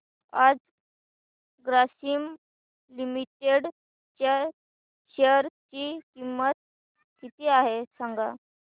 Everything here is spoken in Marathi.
आज ग्रासीम लिमिटेड च्या शेअर ची किंमत किती आहे सांगा